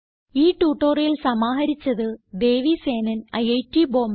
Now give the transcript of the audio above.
ഈ ട്യൂട്ടോറിയൽ സമാഹരിച്ചത് ദേവി സേനൻ ഐറ്റ് ബോംബേ